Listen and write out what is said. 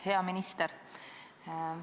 Hea minister!